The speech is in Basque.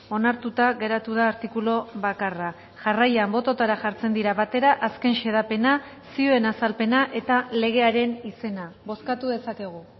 onartuta geratu da artikulu bakarra jarraian bototara jartzen dira batera azken xedapena zioen azalpena eta legearen izena bozkatu dezakegu